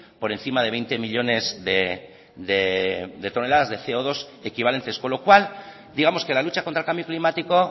por encima de veinte millónes de toneladas de ce o dos equivalentes con lo cual digamos que la lucha contra el cambio climático